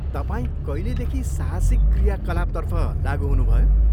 तपाईँ कहिलेदेखि साहसिक क्रियाकलापतर्फ लाग्गु हुनुभयो?